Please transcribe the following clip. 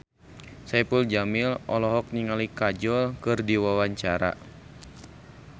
Saipul Jamil olohok ningali Kajol keur diwawancara